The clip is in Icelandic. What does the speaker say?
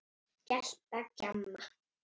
Gelta, gjamma.